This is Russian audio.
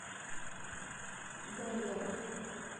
гаридова